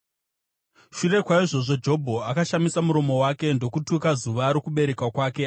Shure kwaizvozvo, Jobho akashamisa muromo wake ndokutuka zuva rokuberekwa kwake.